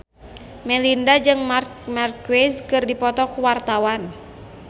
Melinda jeung Marc Marquez keur dipoto ku wartawan